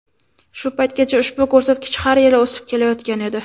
Shu paytgacha ushbu ko‘rsatkich har yili o‘sib kelayotgan edi.